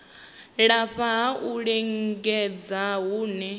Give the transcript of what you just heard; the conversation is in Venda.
lafha ha u lingedza hune